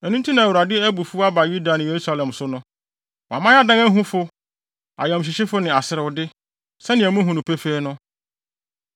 Ɛno nti na Awurade abufuw aba Yuda ne Yerusalem so no. Wama yɛadan ahufo, ayamhyehyefo ne aserewde, sɛnea muhu no pefee no.